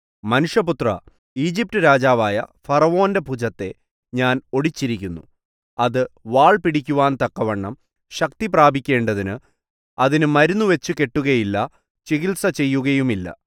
മനുഷ്യപുത്രാ ഈജിപ്റ്റ് രാജാവായ ഫറവോന്റെ ഭുജത്തെ ഞാൻ ഒടിച്ചിരിക്കുന്നു അത് വാൾ പിടിക്കുവാൻ തക്കവണ്ണം ശക്തി പ്രാപിക്കേണ്ടതിന് അതിന് മരുന്ന് വച്ചുകെട്ടുകയില്ല ചികിത്സ ചെയ്യുകയുമില്ല